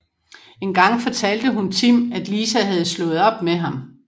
En gang fortalte hun Tim at Lisa havde slået op med ham